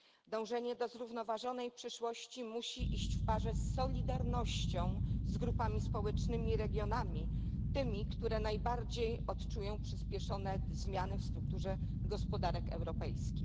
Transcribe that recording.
Dążenie do zrównoważonej przyszłości musi iść w parze z solidarnością, z grupami społecznymi i regionami tymi, które najbardziej odczują przyspieszone zmiany w strukturze gospodarek europejskich.